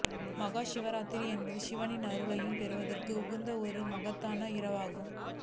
மஹா சிவராத்திரி என்பது சிவனின் அருளை பெறுவதற்கு உகந்த ஒரு மகத்தான இரவாகும்